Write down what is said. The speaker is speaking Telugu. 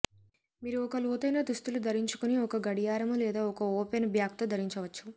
మీరు ఒక లోతైన దుస్తులు ధరించుకొని ఒక గడియారము లేదా ఒక ఓపెన్ బ్యాక్ తో ధరించవచ్చు